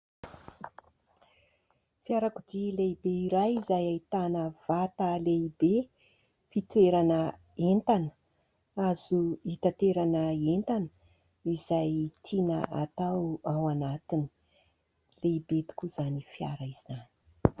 Fiarakodia lehibe iray izay ahitana vata lehibe fitoerana entana azo itaterana entana izay azo tiana ao anatiny. Lehibe tokoa izany fiara izany.